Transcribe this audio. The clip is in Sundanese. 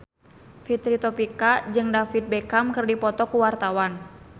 Fitri Tropika jeung David Beckham keur dipoto ku wartawan